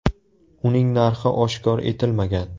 Uning narxi oshkor etilmagan.